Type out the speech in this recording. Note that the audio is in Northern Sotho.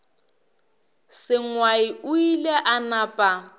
sengwai o ile a napa